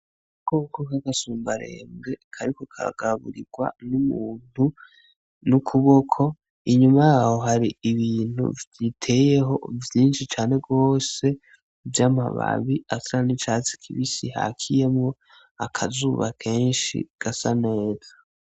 Agakoko k'umusumbarembo kariko kagaburirwa n'umuntu n'ukuboko, inyuma yaho hari ibintu biteyeho vyinshi cane gose vy'amababi asa n'icatsi kibisi hakiyemwo akazuba kenshi gasa neza.